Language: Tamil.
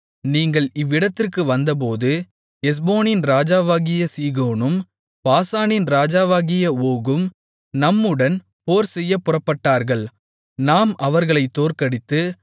நீங்கள் இவ்விடத்திற்கு வந்தபோது எஸ்போனின் ராஜாவாகிய சீகோனும் பாசானின் ராஜாவாகிய ஓகும் நம்முடன் போர்செய்யப் புறப்பட்டார்கள் நாம் அவர்களைத் தோற்கடித்து